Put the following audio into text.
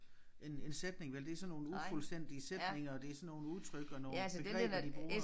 En en sætning vel det sådan nogle ufuldstændige sætninger og det sådan nogle udtryk og nogle begreber de bruger